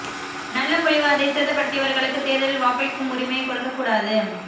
நல்ல முடிவு அதை சேதப்படுத்தியவர்களுக்கு தேர்தலில் வாக்களிக்கும் உரிமையை கொடுக்க கூடாது